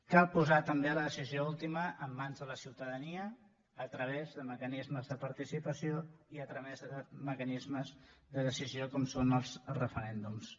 cal posar també la decisió última en mans de la ciutadania a través de mecanismes de participació i a través de mecanismes de decisió com són els referèndums